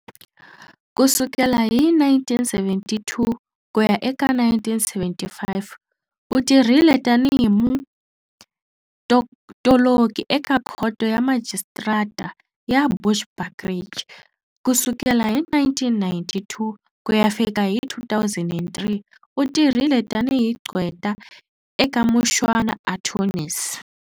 Kusukela hi 1972 kuya eka 1975 u tirhile tanihi mutoloki eka Khoto ya Majistarata ya Bushbuckridge. Kusukela hi 1992 kuya fika hi 2003 u tirhile tanihi gqweta eka Mushwana Attorneys.